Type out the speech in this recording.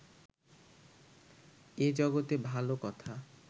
এ জগতে ভাল কথা